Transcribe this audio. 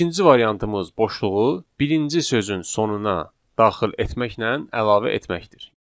İkinci variantımız boşluğu birinci sözün sonuna daxil etməklə əlavə etməkdir.